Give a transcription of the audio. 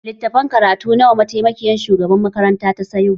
Littafan karatu nawa mataimakiyar shugabar makaranta ta sayo?